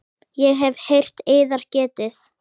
Ég hef heyrt yðar getið.